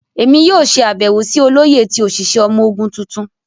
Emi yoo ṣe abẹwo si Oloye ti oṣiṣẹ ọmọ ogun tuntun.